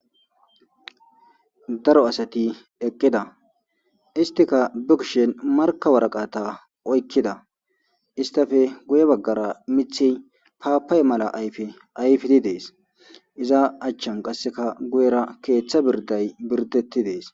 Daro asati eqqida istika bukshen marka waraqata oykkida istafe guye baggara mithi paapay mala ayfe ayfidi dees iza achchan qasseka guyera keeththa birday birdetti dees